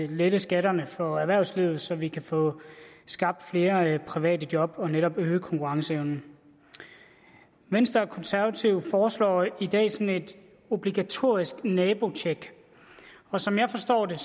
lette skatterne for erhvervslivet så vi kan få skabt flere private job og netop øge konkurrenceevnen venstre og konservative foreslår i dag sådan et obligatorisk nabotjek og som jeg forstår det